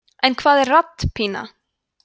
en hvað er rapppína